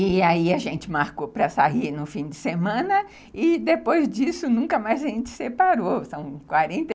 E aí a gente marcou para sair no fim de semana e depois disso nunca mais a gente separou, são quaren